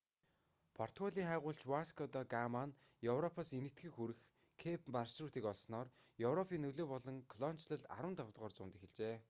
португалийн хайгуулч васко да гама нь европоос энэтхэгт хүрэх кэйп маршрутыг олсноор европын нөлөө болон колоничлол 15-р зуунд эхэлжээ